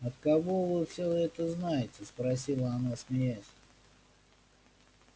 от кого вы всё это знаете спросила она смеясь